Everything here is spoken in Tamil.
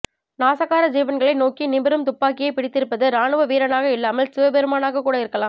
நாசகார ஜீவன்களை நோக்கி நிமிரும் துப்பாக்கியை பிடித்திருப்பது ராணுவ வீரனாக இல்லாமல் சிவபெருமானாகக் கூட இருக்கலாம்